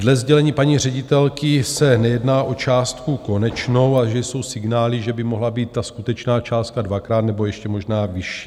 Dle sdělení paní ředitelky se nejedná o částku konečnou a že jsou signály, že by mohla být ta skutečná částka dvakrát nebo ještě možná vyšší.